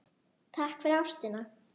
Takk fyrir ástina.